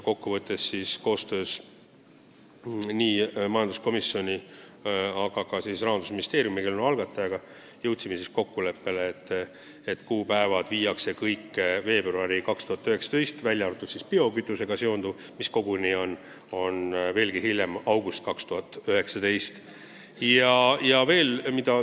Kokkuvõttes jõudsime majanduskomisjonis Rahandusministeeriumi ehk eelnõu algataja esindajaga kokkuleppele, et seadus võiks jõustuda 1. veebruaril 2019, v.a biokütusega seonduv osa, mis jõustuks veelgi hiljem, 1. augustil 2019.